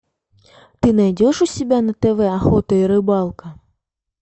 ты найдешь у себя на тв охота и рыбалка